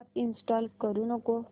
app install करू नको